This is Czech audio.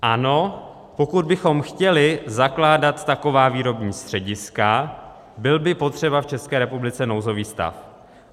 Ano, pokud bychom chtěli zakládat taková výrobní střediska, byl by potřeba v České republice nouzový stav.